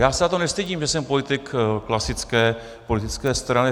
Já se za to nestydím, že jsem politik klasické politické strany.